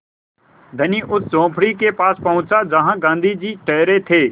धनी उस झोंपड़ी के पास पहुँचा जहाँ गाँधी जी ठहरे थे